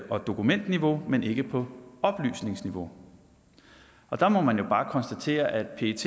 og dokumentniveau men ikke på oplysningsniveau der må man jo bare konstatere at pet